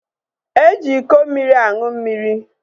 E ji iko mmiri aṅụ mmiri